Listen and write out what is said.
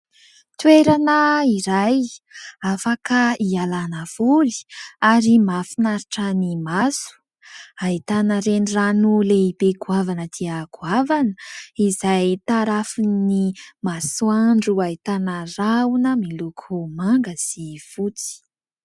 Toerana iray afaka ialana voly ary mahafinaritra ny maso, ahitana renirano lehibe goavana dia goavana izay tarafin'ny masoandro ahitana rahona miloko manga sy fotsy.